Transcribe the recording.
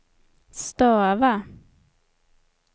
stava